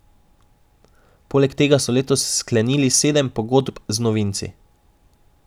Poleg tega so letos sklenili sedem pogodb z novinci.